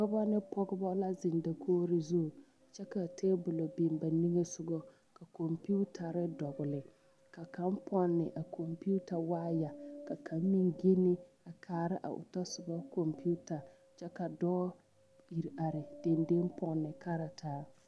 Dɔba ne pɔgeba la zeŋ dakogro zu kyɛ ka tabolɔ biŋ ba nimisogɔ ka kɔmpetare dɔgle ka kaŋ pɔnne a kɔmpeta waayɛ ka kaŋ meŋ genne a kaara a o tasoba kɔmpeta kyɛ ka dɔɔ iri are dendeŋ pɔnne kartaa.